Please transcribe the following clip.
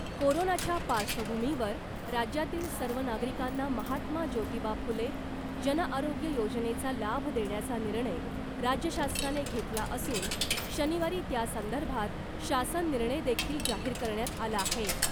कोरोनाच्या पार्श्वभूमीवर राज्यातील सर्व नागरिकांना महात्मा ज्योतिबा फुले जन आरोग्य योजनेचा लाभ देण्याचा निर्णय राज्य शासनाने घेतला असून शनिवारी त्यासंदर्भात शासन निर्णय देखील जाहीर करण्यात आला आहे .